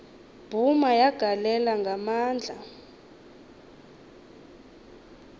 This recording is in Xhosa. bhuma yagalela ngamandla